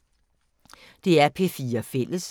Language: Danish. DR P4 Fælles